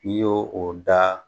N i y'o o da